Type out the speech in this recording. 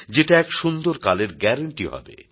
যেটা এক সুন্দর কালের গ্যারাণ্টি হবে